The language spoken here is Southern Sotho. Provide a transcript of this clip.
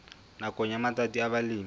nakong ya matsatsi a balemi